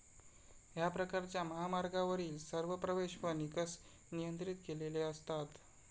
ह्या प्रकारच्या महामार्गावरील सर्व प्रवेश व निकस नियंत्रित केलेले असतात.